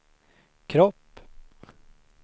kropp